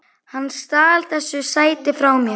Hann stal þessu sæti frá mér!